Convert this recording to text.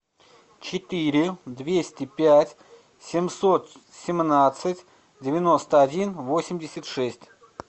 четыре двести пять семьсот семнадцать девяносто один восемьдесят шесть